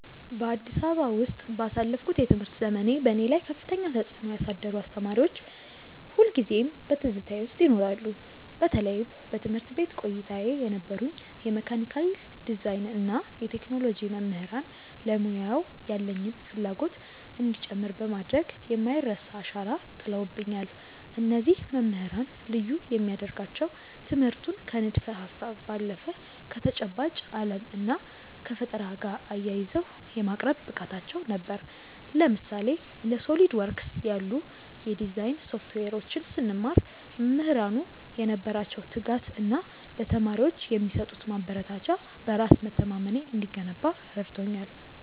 በአዲስ አበባ ውስጥ ባሳለፍኩት የትምህርት ዘመኔ፣ በእኔ ላይ ከፍተኛ ተጽዕኖ ያሳደሩ አስተማሪዎች ሁልጊዜም በትዝታዬ ውስጥ ይኖራሉ። በተለይም በትምህርት ቤት ቆይታዬ የነበሩኝ የመካኒካል ዲዛይን እና የቴክኖሎጂ መምህራን ለሙያው ያለኝን ፍላጎት እንዲጨምር በማድረግ የማይረሳ አሻራ ጥለውብኛል። እነዚህ መምህራን ልዩ የሚያደርጋቸው ትምህርቱን ከንድፈ-ሀሳብ ባለፈ ከተጨባጭ ዓለም እና ከፈጠራ ጋር አያይዘው የማቅረብ ብቃታቸው ነበር። ለምሳሌ፣ እንደ SOLIDWORKS ያሉ የዲዛይን ሶፍትዌሮችን ስንማር፣ መምህራኑ የነበራቸው ትጋት እና ለተማሪዎች የሚሰጡት ማበረታቻ በራስ መተማመኔ እንዲገነባ ረድቶኛል።